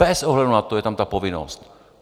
Bez ohledu na to je tam ta povinnost.